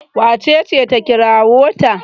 wacece ta kirawo ta?